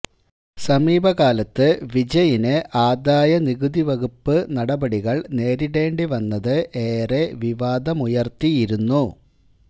സമീപകാലത്ത് വിജയിന് ആദായ നികുതിവകുപ്പ് നടപടികള് നേരിടേണ്ടി വന്നത് ഏറെ വിവാദമുയര്ത്തിയിരുന്നു